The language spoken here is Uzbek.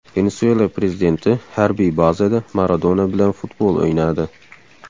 Venesuela prezidenti harbiy bazada Maradona bilan futbol o‘ynadi.